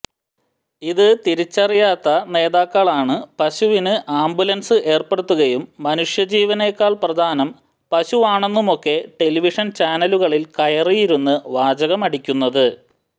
ഇത് തിരിച്ചറിയാത്ത നേതാക്കളാണ് പശുവിന് ആംബുലൻസ് ഏർപ്പെടുത്തുകയും മനുഷ്യ ജീവനേക്കാൾ പ്രധാനം പശുവാണെന്നുമൊക്കെ ടെലിവിഷൻ ചാനലുകളിൽ കയറിയിരുന്ന് വാചകമടിക്കുന്നത്